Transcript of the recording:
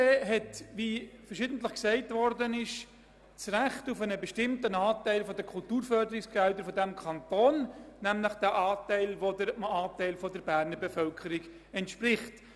Wie verschiedentlich gesagt wurde, hat der Conseil du Jura bernois (CJB) das Recht auf einen bestimmten Anteil der Kulturförderungsgelder dieses Kantons, nämlich auf einen Anteil, der seinem Anteil an der Berner Bevölkerung entspricht: